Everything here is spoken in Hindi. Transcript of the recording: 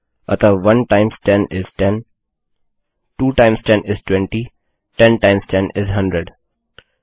अतः 1 times 10 is 10 2 times 2 is 2 times 10 is 20 10 times 10 is uh hundred